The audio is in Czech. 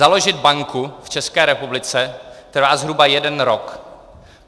Založit banku v České republice trvá zhruba jeden rok.